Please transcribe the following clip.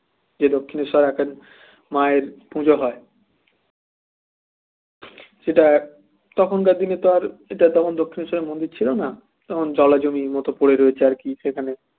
যে দক্ষিণেশ্বরে এখন মায়ের পূজো হয় সেটা তখনকার দিনে তো আর এটা দক্ষিণেশ্বরের মন্দির ছিল না তখন জলা জমির মতো পড়ে রয়েছে আর কি সেখানে